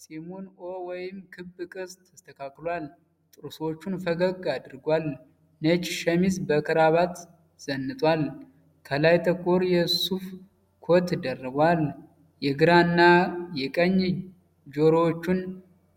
ፂሙን "ኦ" ወይም ክብ ቅርፅ ተስተካክሏል። ጥርሶቹን ፈገግ አድርጓል። ነጭ ሸሚዝ በካራባት ዘንጧል። ከላይ ጥቁር የሱፍ ኮት ደርቧል። የግራ እና የቀኝ ጆሮዎቹን